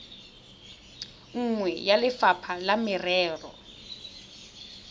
nngwe ya lefapha la merero